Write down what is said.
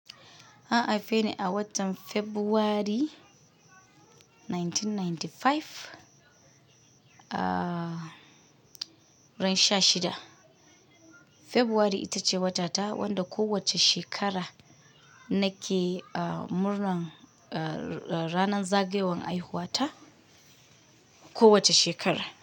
An haife ni a watan February 1995, ah ran sha shida. February ita ce wata ta wanda kowacce shekara nake aa murnan aa ranan zagayowar haihuwa ta kowace shekara.